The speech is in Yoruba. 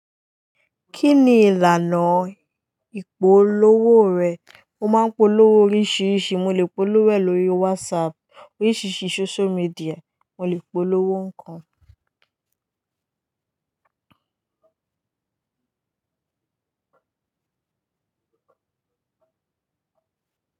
Kí ni ìlànà ìpolówó rẹ̀? Mo máa ń polówó oríṣiríṣi. Mo lè polówó ẹ̀ lórí WhatsApp, oríṣiríṣi social media, mo lè polówó ńkan.